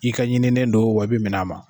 I ka ɲininen don ,wa i bi minɛ a ma.